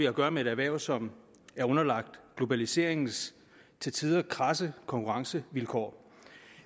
at gøre med et erhverv som er underlagt globaliseringens til tider kradse konkurrencevilkår